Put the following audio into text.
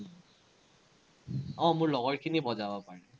আহ মোৰ লগৰখিনি বজাব পাৰে।